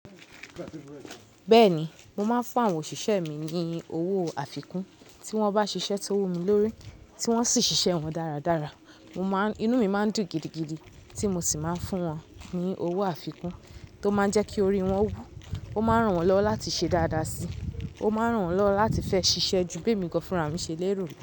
Bẹ́ẹ̀ni, mo máa ń fún àwọn òṣìṣẹ́ mi ní owó àfikún tí wọ́n bá ṣiṣẹ́ tó wù mí lórí, tí wọ́n sì ṣiṣẹ́ wọn dáradára. Mo máa ń, inú mi máa ń dùn gidigidi tí mo sì máa ń fún wọn ní owó àfikún tó máa ń jẹ́ kí orí wọn wú. Ó máa ń ràn wọ́n lọwọ láti ṣe dáadáa si. Ó máa ń ràn wọ́n lọwọ láti fẹ́ ṣiṣẹ́ ju bi emi gan fúnra mi ṣe lero lọ.